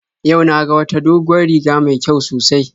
Yau na ga wata doguwar riga mai kyau sosai